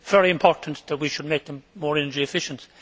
It is very important that we should make them more energy efficient.